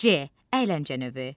C. əyləncə növü.